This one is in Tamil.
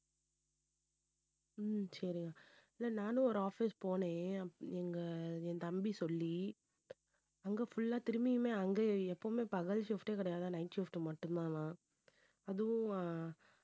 உம் சரி இல்லை நானும் ஒரு office போனேன் எங்க என் தம்பி சொல்லி அங்கே full ஆ திரும்பியுமே அங்கேயே எப்பவுமே பகல் shift ஏ கிடையாது night shift மட்டும்தானாம் அதுவும்